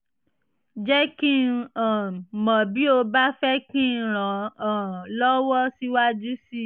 jẹ́ kí n um mọ̀ bí o bá fẹ́ kí n ràn um ọ́ lọ́wọ́ síwájú sí i